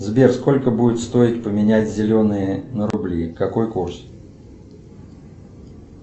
сбер сколько будет стоить поменять зеленые на рубли какой курс